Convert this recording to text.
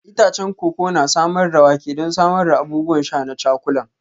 Itacen koko na samar da wake don samar da abubuwan sha na cakulan.